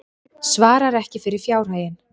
Svarar ekki fyrir fjárhaginn